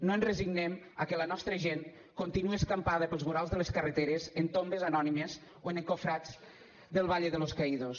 no ens resignem a que la nostra gent continue escampada pels vorals de les carreteres en tombes anònimes o en encofrats del valle de los caídos